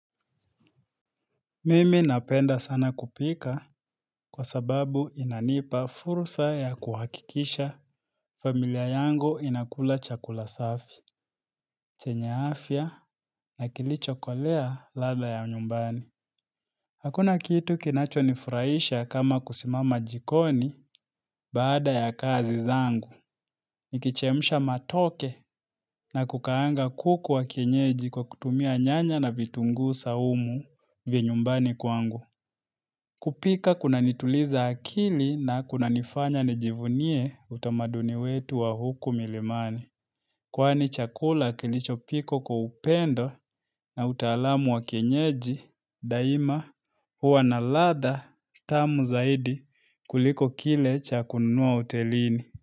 Mimi napenda sana kupika kwa sababu inanipa fursa ya kuhakikisha familia yangu inakula chakula safi, chenya afya na kilichokolea ladha ya nyumbani. Hakuna kitu kinacho nifuraisha kama kusimama jikoni baada ya kazi zangu. Nikichemsha matoke na kukaanga kuku wa kienyeji kwa kutumia nyanya na vitungu saumu vinyumbani kwangu. Kupika kunanituliza akili na kuna nifanya nijivunie utamaduni wetu wa huku milimani. Kwani chakula kilicho pikwa kwa upendo na utalamu wa kienyeji daima huwa na ladha tamu zaidi kuliko kile cha kununua hotelini.